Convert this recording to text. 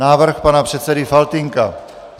Návrh pana předsedy Faltýnka.